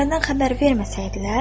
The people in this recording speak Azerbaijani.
Saraydan xəbər verməsəydilər?